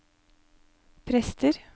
prester